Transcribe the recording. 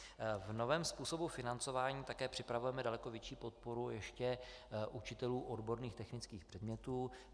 V novém způsobu financování také připravujeme daleko větší podporu ještě učitelům odborných technických předmětů.